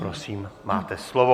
Prosím, máte slovo.